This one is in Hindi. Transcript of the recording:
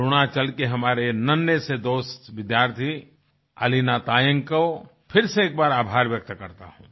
अरुणाचल के हमारे नन्हे से दोस्त विद्यार्थी अलीना तायंग को फिर से एक बार आभार व्यक्त करता हूँ